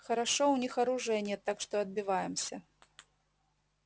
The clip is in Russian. хорошо у них оружия нет так что отбиваемся